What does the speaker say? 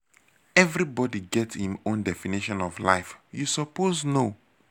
everybody get im own definition of life you suppose know.